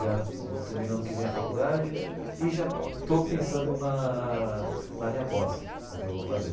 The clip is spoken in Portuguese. Já termino ano que vem a faculdade e já estou pensando na na minha pós, no que eu vou fazer.